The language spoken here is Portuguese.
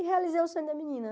E realizei o sonho da menina.